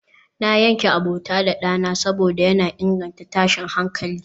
na yanke abota da dana saboda yana inganta tashin hankali